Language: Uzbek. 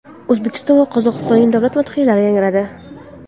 O‘zbekiston va Qozog‘istonning davlat madhiyalari yangradi.